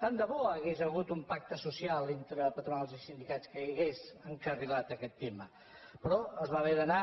tant de bo hi hagués hagut un pacte social entre patronals i sindicats que hagués encarrilat aquest tema però es va haver d’anar